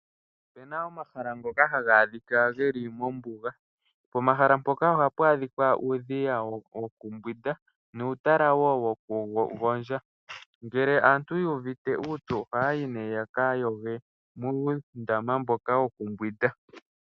Opena omahala ngoka haga adhika geli mombuga. Pomahala mpoka ohapu adhika uudhiya yokumbwinda nuutaala woo woku gondja. Ngele aatu yu uvite uupyu oha yayi nee yaka yoge muundama mboka woku mbwinda.